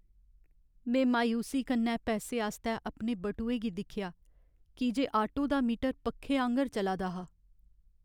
में मायूसी कन्नै पैसे आस्तै अपने बटुए गी दिक्खेआ की जे आटो दा मीटर पक्खे आंह्गर चला दा हा।